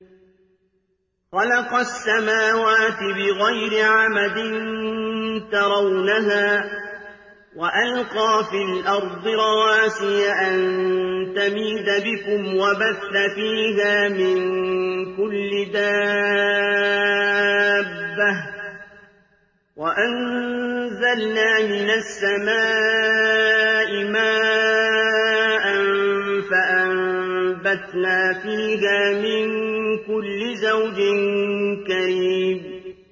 خَلَقَ السَّمَاوَاتِ بِغَيْرِ عَمَدٍ تَرَوْنَهَا ۖ وَأَلْقَىٰ فِي الْأَرْضِ رَوَاسِيَ أَن تَمِيدَ بِكُمْ وَبَثَّ فِيهَا مِن كُلِّ دَابَّةٍ ۚ وَأَنزَلْنَا مِنَ السَّمَاءِ مَاءً فَأَنبَتْنَا فِيهَا مِن كُلِّ زَوْجٍ كَرِيمٍ